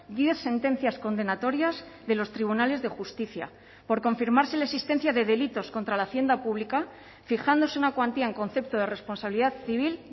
diez sentencias condenatorias de los tribunales de justicia por confirmarse la existencia de delitos contra la hacienda pública fijándose una cuantía en concepto de responsabilidad civil